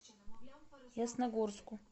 ясногорску